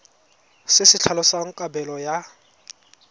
se se tlhalosang kabelo ya